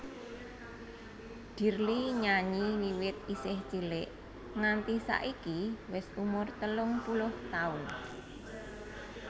Dirly nyanyi wiwit isih cilik nganti saiki wis umur telung puluh taun